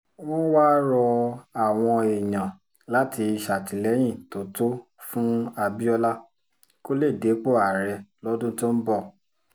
wọ́n wáá rọ àwọn èèyàn láti ṣàtìlẹ́yìn tó tó fún abiola kó lè dépò ààrẹ lọ́dún tó ń bọ̀